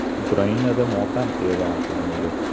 Ukrainada motam e’lon qilindi.